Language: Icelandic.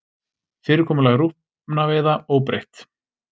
Fyrirkomulag rjúpnaveiða óbreytt